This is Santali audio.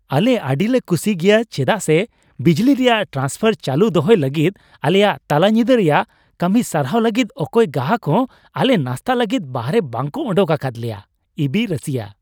ᱟᱞᱮ ᱟᱹᱰᱤᱞᱮ ᱠᱩᱥᱤ ᱜᱮᱭᱟ ᱪᱮᱫᱟᱜ ᱥᱮ ᱵᱤᱡᱽᱞᱤ ᱨᱮᱭᱟᱜ ᱴᱨᱟᱱᱥᱯᱷᱟᱨ ᱪᱟᱹᱞᱩ ᱫᱚᱦᱚᱭ ᱞᱟᱹᱜᱤᱫ ᱟᱞᱮᱭᱟᱜ ᱛᱟᱞᱟ ᱧᱤᱫᱟᱹ ᱨᱮᱭᱟᱜ ᱠᱟᱹᱢᱤ ᱥᱟᱨᱦᱟᱣ ᱞᱟᱹᱜᱤᱫ ᱚᱠᱚᱭ ᱜᱟᱦᱟᱠ ᱦᱚᱸ ᱟᱞᱮ ᱱᱟᱥᱛᱟ ᱞᱟᱹᱜᱤᱫ ᱵᱟᱦᱨᱮ ᱵᱟᱝᱠᱚ ᱳᱰᱳᱠ ᱟᱠᱟᱫ ᱞᱮᱭᱟ ᱾ (ᱤᱵᱤ ᱨᱟᱹᱥᱤᱭᱟᱹ)